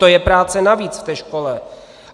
To je práce navíc v té škole!